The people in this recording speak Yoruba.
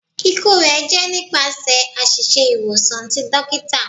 Iku rẹ jẹ nipasẹ aṣiṣe iwosan ti dokita